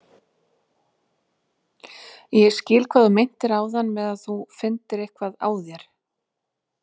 Ég skil hvað þú meintir áðan með að þú finndir eitthvað á þér.